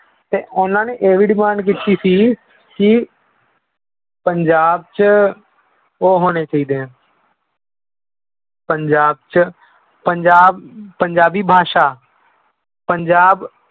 ਤੇ ਉਹਨਾਂ ਨੇ ਇਹ ਵੀ demand ਕੀਤੀ ਸੀ ਕਿ ਪੰਜਾਬ 'ਚ ਉਹ ਹੋਣੇੇ ਚਾਹੀਦੇ ਹੈ ਪੰਜਾਬ 'ਚ ਪੰਜਾਬ ਪੰਜਾਬੀ ਭਾਸ਼ਾ, ਪੰਜਾਬ